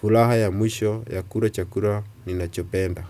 furaha ya mwisho ya kula chakula ninachopenda.